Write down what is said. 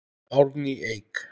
Árný Eik.